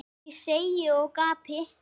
segi ég og gapi.